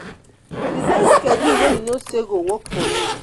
design schedule wey you know say go work for you